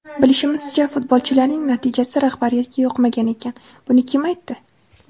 Bilishimizcha, futbolchilarning natijasi rahbariyatga yoqmagan ekan... Buni kim aytdi?